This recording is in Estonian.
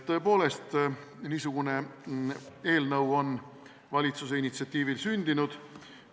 Tõepoolest, niisugune eelnõu on valitsuse initsiatiivil sündinud.